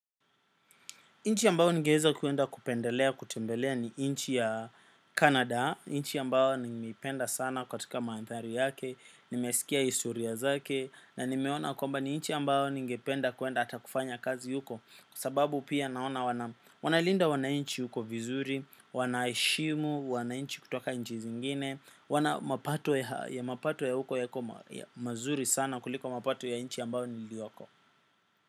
Nchi ambayo ningeweza kwenda kupendelea kutembelea ni nchi ya Canada, nchi ambayo nimeipenda sana katika mandhari yake, nimesikia historia zake, na nimeona kwamba ni nchi ambayo ningependa kwenda hata kufanya kazi huko, kwa sababu pia naona wanalinda wananchi huko vizuri, wanaheshimu wananchi kutoka nchi zingine, wana mapato ya mapato ya huko yako mazuri sana kuliko mapato ya nchi ambayo niliyoko.